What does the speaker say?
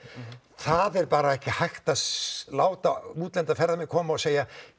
það er bara ekki hægt að láta erlenda ferðamenn koma og segja